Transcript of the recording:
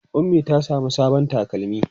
Ummi ta samu sabon takalmi.